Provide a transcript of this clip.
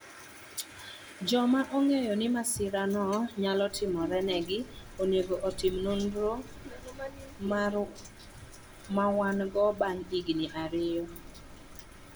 Joma ong'eyo ni masira no nyalo timorenegi onego otim nonro mar wang� bang� higni ariyo.